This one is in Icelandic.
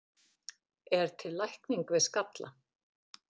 er til lækning við skalla